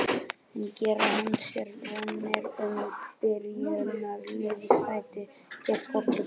En gerir hann sér vonir um byrjunarliðssæti gegn Portúgal?